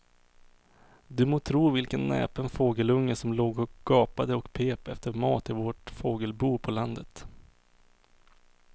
Du må tro vilken näpen fågelunge som låg och gapade och pep efter mat i vårt fågelbo på landet.